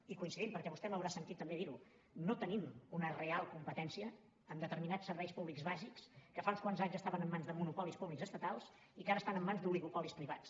i coincidim perquè vostè m’haurà sentit també dir ho no tenim una real competència en determinats serveis públics bàsics que fa uns quants anys estaven en mans de monopolis públics estatals i que ara estan en mans d’oligopolis privats